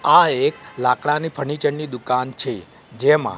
આ એક લાકડાની ફર્નિચર ની દુકાન છે જેમાં--